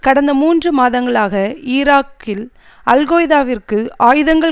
கடந்த மூன்று மாதங்களாக ஈராக்கில் அல்கொய்தாவிற்கு ஆயுதங்கள்